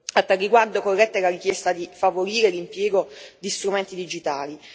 A tale riguardo, corretta è la richiesta di favorire l'impiego di strumenti digitali.